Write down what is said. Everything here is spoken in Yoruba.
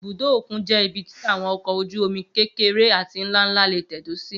Ibùdó òkun jẹ́ ibi tí àwọn ọkọ̀ ojú-omi kékeré àti nlá nlá lè tẹ̀dó sí